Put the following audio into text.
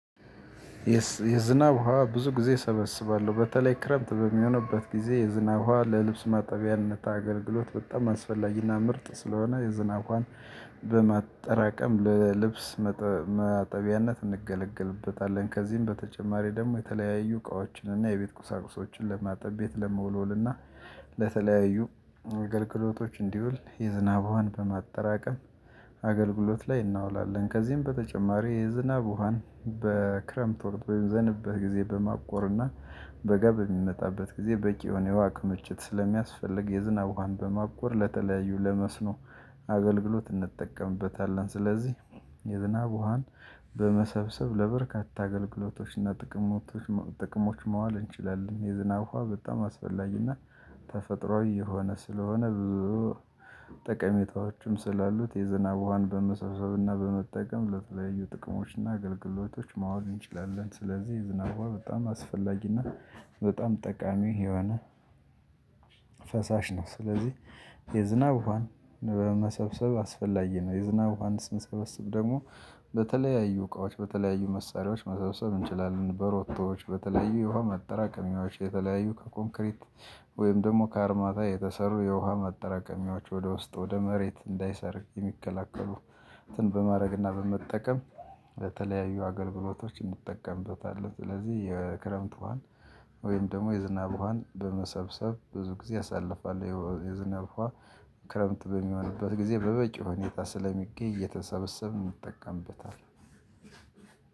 የዝናብ ውሃ ብዙ ጊዜ እሰበስባለሁ በተለይ ክረምት በሚሆንበት ጊዜ የዝናብ ውሃ ለልብስ ማጠቢያነት አገልግሎት በጣም አስፈላጊና ምርጥ ስለሆነ የዝናብ ውሃን በማጠራቀም ለልብስ ማጠቢያነት እንገለገልበታለን። ከዚህም በተጨማሪ ደግሞ የተለያዩ እቃዎችን እና የቤት ቁሳቁሶችን ለማጠብ ቤት ለመወልወልና ለተለያዩ አገልግሎቶች እንዲውል የዝናብ ውሃን በማጠራቀም አገልግሎት ላይ እናውላለን። ከዚህም በተጨማሪ የዝናብ ውሃን በክረምት ወር በዘነበበት ጊዜ በማቆርና በጋ በሚመጣበት ጊዜ በቂ የሆነ የውሃ ክምችት ስለሚያስፈልግ የዝናብ ውሃን በማቆር ለተለያዩ ለመስኖ አገልግሎት እንጠቀምበታለን። ስለዚህ የዝናብ ውሃን በመሰብሰብ ለበርካታ አገልግሎቶችና ጥቅሞች ጥቅሞች ማዋል እንችላለን። የዝናብ ውሃ በጣም አስፈላጊና ተፈጥሮአዊ የሆነ ስለሆነ ብዙ ጠቀሜታዎችም ስላሉት የዝናብ ውሃን በመሰሰብና በመጠቀም ለተለያዩ ጥቅሞችና አገልግሎቶች ማዋል እንችላለን። ስለዚህ የዝናብ ውሃ በጣም አስፈላጊና በጣም ጠቃሚ የሆነ ፈሳሽ ነው። ስለዚህ የዝናብ ውሃን በመሰብሰብ አስፈላጊ ነው። የዝናብ ውሃን ስንሰበሰብ ደግሞ በተለያዩ እቃዎች በተለያዩ መሳሪያዎች መሰብሰብ እንችላለን። በሮቶዎች በተለያዩ የውሃ ማጠራቀሚያዎች የተለያዩ ከኮንክሪት ወይም ደግሞ ከአርማታ የተሰሩ የውሃ ማጠራቀሚያዎች ወደ ውስጥ ወደ መሬት እንዳይሰርግ የሚከላከሉ በማድረግና በመጠቀም በተለያዩ አገልግሎቶች እንጠቀምበታለን። ስለዚህ የክረምት ውሃን ወይም ደግሞ የዝናብ ውሃን በመሰብሰብ ብዙ ጊዜ አሳሳልፋለው። የዝናብ ውሃ ክረምት በሚሆንበት ጊዜ በበቂ ሁኔታ ስለሚገኝ እየተሰበሰበ እንጠቀምበታለን።